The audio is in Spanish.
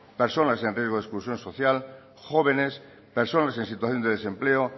personas en riesgo de exclusión social jóvenes personas en situación de desempleo